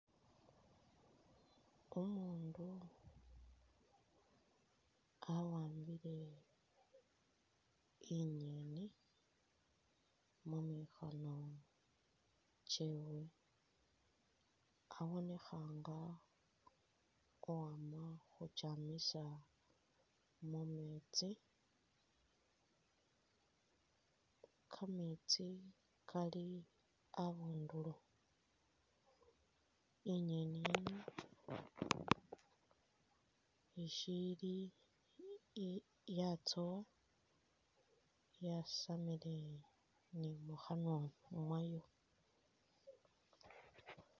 Umuundu awambile inyeeni mu mikhono kyewe, abonekha nga uwama khukyamisa mu meetsi, kameetsi Kali abundulo. I'nyeni yino ishiili i-yatsowa yasamile ni mukhanwa mwayo.